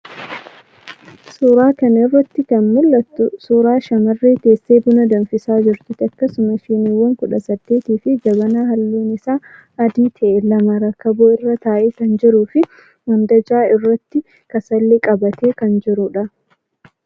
Suura kana irratti kan mul'atu suura shamarree teessee buna daffisaa jirtuti. Akkasumas shiiniwwan 18 fi jabanaa halluun isaa adii ta'e lama rakaboo irra taa'ee kan jiruu fi mandajaa irratti kasalli qabatee kan jirudha.